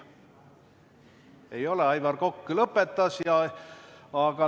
Ei, Aivar Kokk lõpetas.